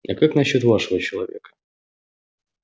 а как насчёт вашего человека